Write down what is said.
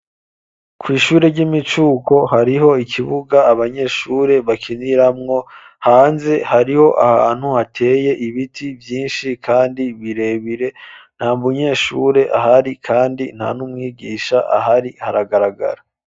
Kw'ishure ry'imicuko, hariho ikibuga, abanyeshure bakiniramwo; hanze, hariho ahantu, hateye ibiti vyinshi, kandi birebire; nta munyeshure ahari, kandi nta n'umwigisha ahari, haragaragara.